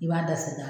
I b'a da sen kan